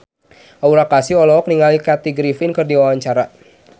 Aura Kasih olohok ningali Kathy Griffin keur diwawancara